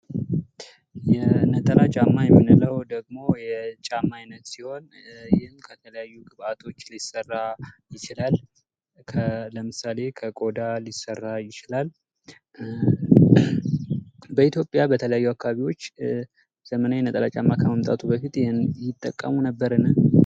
የነጠላ ጫማ የምንለው የጫማ አይነት ሲሆን ይህም ከተለያዩ ግብአቶች ሊሰራ ይችላል። ለምሳሌ፦ ከቆዳ ሊሰራ ይችላል። በኢትዮጵያ በተለያዩ አካባቢዎች ዘመናዊ ነጠላ ጫማ ከመምጣቱ በፊት ይህንን ይጠቀሙ ነበርን?